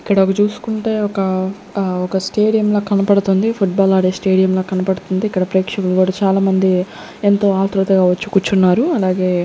ఇక్కడగ చూసుకుంటే ఒక అహ్ ఒక స్టేడియంలా కనపడుతుంది ఫుట్బాల్ ఆడే స్టేడియంలా కనబడుతుంది ఇక్కడ ప్రేక్షకులు చాలా మంది ఎంతో ఆత్రుతగా వచ్చి కూర్చున్నారు అలాగే--